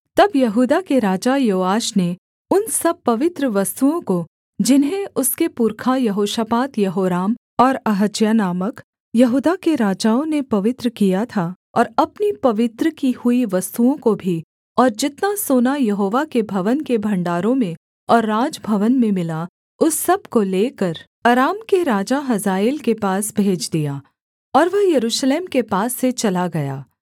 तब यहूदा के राजा योआश ने उन सब पवित्र वस्तुओं को जिन्हें उसके पुरखा यहोशापात यहोराम और अहज्याह नामक यहूदा के राजाओं ने पवित्र किया था और अपनी पवित्र की हुई वस्तुओं को भी और जितना सोना यहोवा के भवन के भण्डारों में और राजभवन में मिला उस सब को लेकर अराम के राजा हजाएल के पास भेज दिया और वह यरूशलेम के पास से चला गया